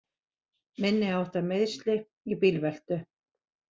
Minniháttar meiðsli í bílveltu